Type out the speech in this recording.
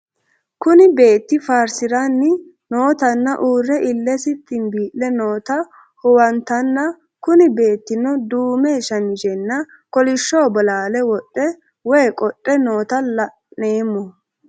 Kuni beeti faarsiranni nootana uure ilesi xibile noota huwantana Kuni betino duume shamizena koolisho bolale woxe woyi qoxe noota la'nemo?